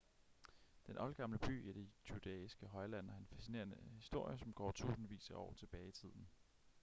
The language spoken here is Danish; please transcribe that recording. den oldgamle by i det judæiske højland har en fascinerende historie som går tusindvis af år tilbage i tiden